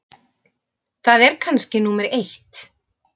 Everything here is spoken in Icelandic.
Það er kannski númer eitt.